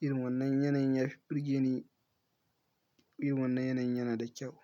Irin wannan yanayin ya fi birgene, irin wannan yanayin yana da kyau.